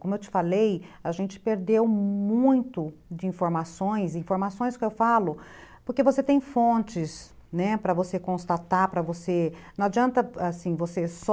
Como eu te falei, a gente perdeu muito de informações, informações que eu falo, porque você tem fontes, né, para você constatar, para você... Não adianta, assim, você só...